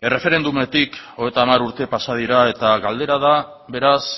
erreferendumetik hogeita hamar urte pasa dira eta galdera da beraz